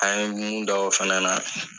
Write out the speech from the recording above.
An ye mun da o fana na